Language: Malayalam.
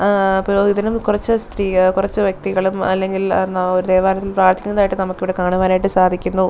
ഏ പുരോഹിതനും കുറച്ച് സ്ത്രീ കുറച്ചു വ്യക്തികളും അല്ലെങ്കിൽ ദേവാലയത്തിൽ പ്രാർത്ഥിക്കുന്നതായിട്ട് നമുക്ക് ഇവിടെ കാണുവാൻ ആയിട്ട് സാധിക്കുന്നു.